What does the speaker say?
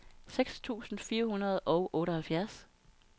seks tusind fire hundrede og otteoghalvfjerds